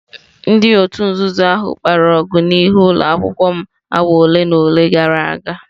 Ndị òtù nzuzo ahụ kpara ọgụ n'ihu ụlọ akwụkwọ m awa ole na ole gara aga.